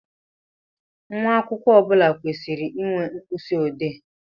Nwa akwụkwọ ọbula kwesịrị ịnwe mkpisi odee